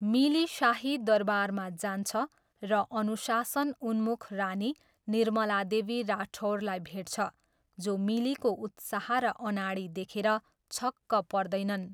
मिली शाही दरबारमा जान्छ र अनुशासन उन्मुख रानी, निर्मला देवी राठौरलाई भेट्छ, जो मिलीको उत्साह र अनाडी देखेर छक्क पर्दैनन्।